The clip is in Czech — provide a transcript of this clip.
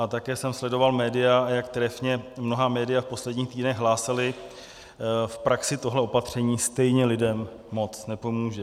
A také jsem sledoval média, jak trefně mnohá média v posledních týdnech hlásala, v praxi tohle opatření stejně lidem moc nepomůže.